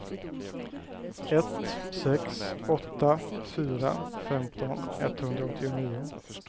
ett sex åtta fyra femton etthundraåttionio